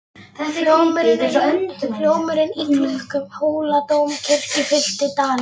Hljómurinn í klukkum Hóladómkirkju fyllti dalinn.